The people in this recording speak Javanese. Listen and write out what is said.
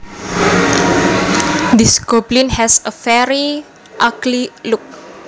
This goblin has a very ugly look